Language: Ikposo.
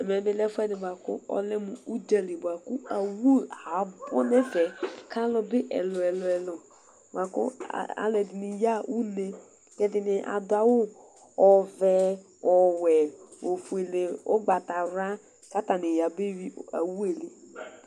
Ɛmɛ bi lɛ mu ɛfuɛdi mu udzali buaku awu abu nɛfɛ kalubi ɛlu ɛlu bua ku aluɛdini bi aya une adu awu ɔʋɛ ɔwɛ ofuele ogbatawla ka atani abeyui awu ɛli